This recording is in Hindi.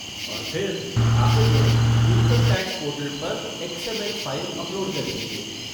और फिर, आख़िर में, इनकम टैक्स पोर्टल पर एक्स.एम.एल. फ़ाइल अपलोड कर दीजिए।